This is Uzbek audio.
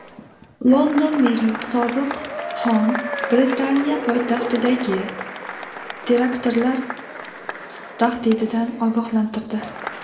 London meri Sodiq Xon Britaniya poytaxtidagi teraktlar tahdididan ogohlantirdi.